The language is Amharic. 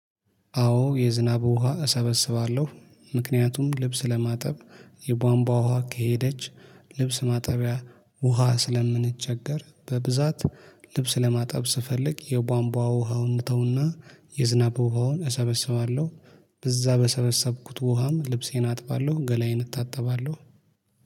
አዎ የዝናብ ውሃ እሰበስባለሁ ምክንያቱም ልብስ ለማጠብ የቧንቧ ውሃ ከሄደች ልብስ ማጠቢያ ውሃ ስለምንቸገር በብዛት ልብስ ለማጠብ ስፈልግ የቧንቧ ውሃውን እተው እና— የዝናብ ውሃውን እሰበሰባለሁ በዛ በሰበሰብኩት ውሃም ልብሴን አጥባለሁ ገላዬን እታጠባለሁ።